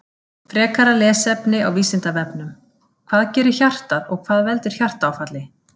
Frekara lesefni á Vísindavefnum Hvað gerir hjartað og hvað veldur hjartaáfalli?